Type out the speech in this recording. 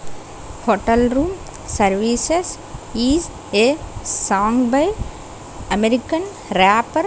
hotel room services is a song by american rapper.